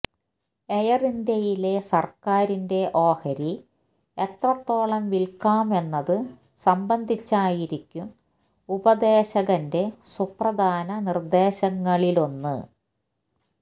air ഇന്ത്യയിലെ സര്ക്കാരിന്റെ ഓഹരി എത്രത്തോളം വില്ക്കാം എന്നതു സംബന്ധിച്ചായിരിക്കും ഉപദേശകന്റെ സുപ്രധാന നിര്ദേശങ്ങളിലൊന്ന്